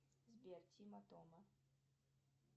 сбер тима тома